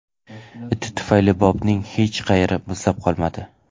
Iti tufayli Bobning hech qayeri muzlab qolmadi.